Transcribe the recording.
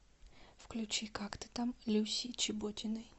включи как ты там люси чеботиной